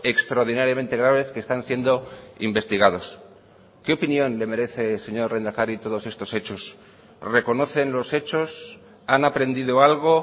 extraordinariamente graves que están siendo investigados qué opinión le merece señor lehendakari todos estos hechos reconocen los hechos han aprendido algo